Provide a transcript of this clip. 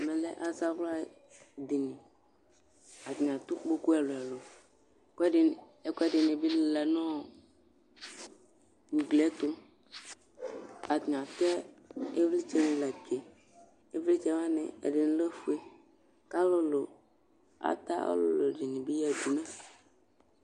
Ɛmɛlɛ azawla dini atani adʋkpokʋ ɛlʋ ɛlʋ ɛlʋ, ɛkʋɛ dini bi lila nʋ ʋgli ɛtʋ Atani atɛ ivlitsɛni latsʋe, ivlitsɛ lɛ ofue kʋ ata alʋlʋ dini bi yadʋ